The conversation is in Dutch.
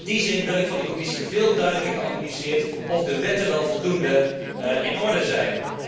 In die zin wil ik van de Commissie veel duidelijker geanalyseerd of de wetten wel voldoende in orde zijn.